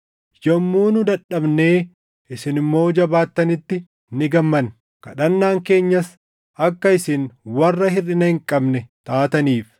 Yommuu nu dadhabnee isin immoo jabaattanitti ni gammanna; kadhannaan keenyas akka isin warra hirʼina hin qabne taataniif.